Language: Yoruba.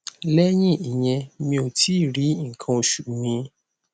lẹyìn ìyẹn mi ò tí ì rí nkan osu mi